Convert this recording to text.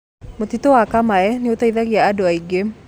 Mũtitũ wa kamae nĩũteithagia andũ aingĩ